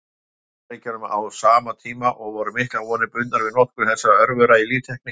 Bandaríkjunum á sama tíma, og voru miklar vonir bundnar við notkun þessara örvera í líftækni.